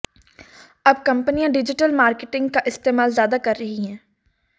अब कंपनियां digital marketing का इस्तेमाल ज्यादा कर रही हैं